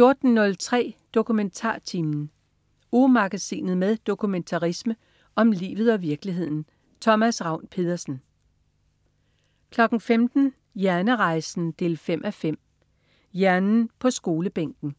14.03 DokumentarTimen. Ugemagasinet med dokumentarisme om livet og virkeligheden. Thomas Ravn-Pedersen 15.00 Hjernerejsen 5:5. Hjernen på skolebænken